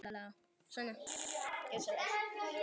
Síðan þögðu þau um hríð.